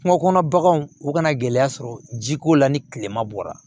Kungo kɔnɔ baganw u kana gɛlɛya sɔrɔ jiko la ni kilema bɔra